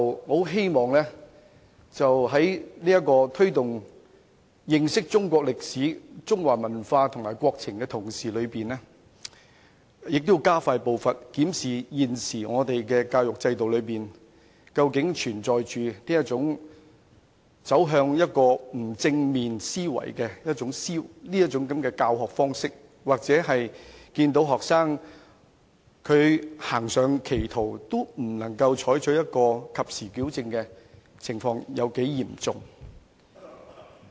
我希望政府在推動認識中國歷史、中華文化及國情的同時，亦加快步伐，檢視現時的教育制度究竟是否存有甚麼教學方式，會導致學生產生不正面的思維，或是教師看到學生誤入歧途時，未能及時矯正的情況究竟有多嚴重。